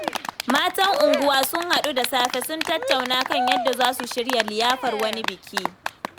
Matan unguwa sun haɗu da safe, sun tattauna kan yadda za su shirya liyafar wani biki.